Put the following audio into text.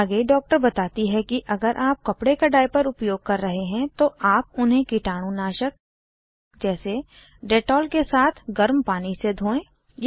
आगे डॉक्टर बताती है कि अगर आप कपडे का डाइपर उपयोग कर रहे हैं तो आप उन्हें कीटाणुनाशक जैसे डेटॉल के साथ गर्म पानी से धोएं